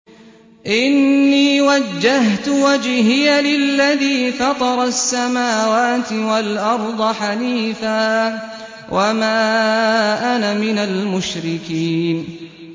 إِنِّي وَجَّهْتُ وَجْهِيَ لِلَّذِي فَطَرَ السَّمَاوَاتِ وَالْأَرْضَ حَنِيفًا ۖ وَمَا أَنَا مِنَ الْمُشْرِكِينَ